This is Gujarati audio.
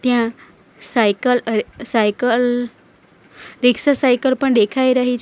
ત્યાં સાયકલ અરે રીક્ષા સાયકલ પણ દેખાઈ રહી છે.